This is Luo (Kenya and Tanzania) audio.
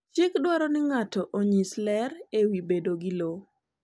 Chik dwaro ni ng’ato onyis ler e wi bedo gi lowo.